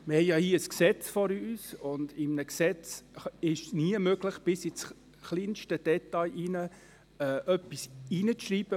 Wir haben hier ein Gesetz vor uns, und in einem Gesetz ist es nie möglich, bis ins kleinste Detail hinein etwas hineinzuschreiben.